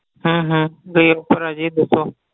ਹਮ ਹਮ ਆ ਜੀ ਦੱਸੋ